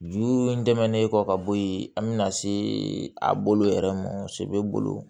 Juru dɛmɛnen kɔ ka bɔ yen an bɛna se a bolo yɛrɛ ma bolo